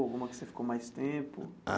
Alguma que você ficou mais tempo?